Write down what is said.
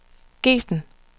Gesten